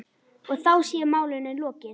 Og þá sé málinu lokið.